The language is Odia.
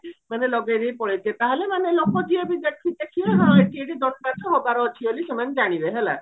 ମାନେ ଲଗେଇଦେଇକି ପଳେଇଥିବେ ତାହେଲେ ମାନେ ଲୋକ ଯିଏ ବି ଦେଖି ଦେଖିବେ ହଁ ଏଠି ଏଠି ଦଣ୍ଡ ନାଚ ହବାର ଅଛି ବୋଲି ସେମାନେ ଜାଣିବବେ ହେଲା